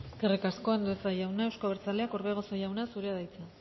eskerrik asko andueza jaunak euzko abertzaleak orbegozo jauna zurea da hitza